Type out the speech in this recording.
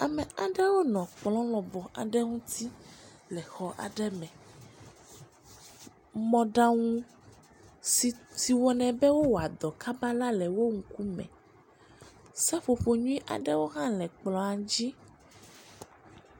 Ame aɖewo nɔ kplɔ̃ lɔbɔ aɖe ŋuti le xɔ aɖe me, mɔɖaŋu si si wɔ ne be wo wɔa dɔ kaba la le wo ŋukume, seƒoƒo nyuie aɖewo ha le kplɔ̃a dzi.